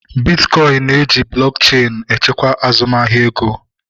Bitkọin na-eji blọk cheenu echekwa azụmahịa ego